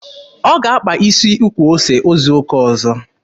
Ọ ga-akpa isi ukwu ose izu ụka ọzọ.